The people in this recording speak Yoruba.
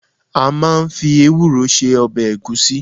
A máa ń fi ewúro se ọbẹ̀ ẹ̀gúsí.